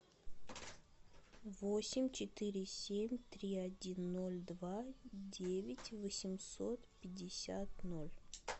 восемь четыре семь три один ноль два девять восемьсот пятьдесят ноль